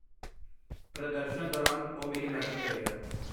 ਪ੍ਰਦਰਸ਼ਨ ਦੌਰਾਨ ਉਹ ਮੇਰੀ ਮਦਦ ਕਰੇਗਾ।